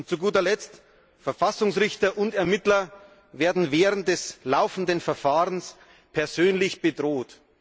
Und zu guter Letzt Verfassungsrichter und Ermittler werden während des laufenden Verfahrens persönlich bedroht.